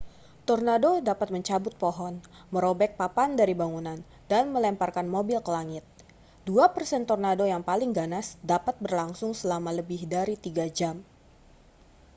tornado dapat mencabut pohon merobek papan dari bangunan dan melemparkan mobil ke langit dua persen tornado yang paling ganas dapat berlangsung selama lebih dari tiga jam